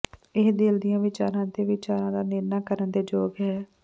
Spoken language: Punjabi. ਇਹ ਦਿਲ ਦੀਆਂ ਵਿਚਾਰਾਂ ਅਤੇ ਵਿਚਾਰਾਂ ਦਾ ਨਿਰਣਾ ਕਰਨ ਦੇ ਯੋਗ ਹੈ